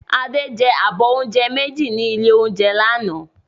Adé jẹ abọ́ oúnjẹ méjì ní ilé-oúnjẹ lánàá